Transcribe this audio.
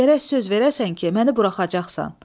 Amma gərək söz verəsən ki, məni buraxacaqsan.